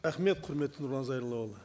рахмет құрметті нұрлан зайроллаұлы